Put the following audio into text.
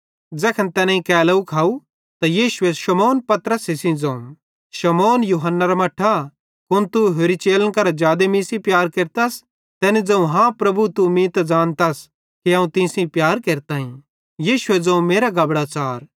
ज़ैखन तैनेईं केलोव खाव त यीशुए शमौन पतरसे सेइं ज़ोवं शमौन यूहन्नेरे मट्ठा कुन तू होरि चेलन करां जादे मीं सेइं प्यार केरतस तैनी ज़ोवं हाँ प्रभु तू त मीं ज़ानतस कि अवं तीं सेइं प्यार केरताईं यीशुए ज़ोवं मेरां गबड़ां च़ार